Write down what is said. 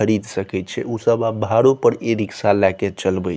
खरीद सके छै उ सब आब भाड़ो पर ई-रिक्शा लाएके चलवे --